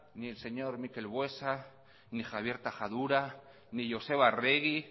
ni el señor mikel buesa ni javier tajadura ni joseba arregi